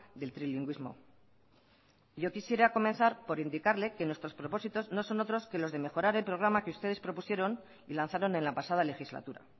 del trilingüismo yo quisiera comenzar por indicarle que nuestros propósitos no son otros que los de mejorar el programa que ustedes propusieron y lanzaron en la pasada legislatura